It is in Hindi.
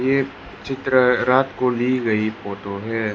ये चित्र रात को ली गई फोटो है।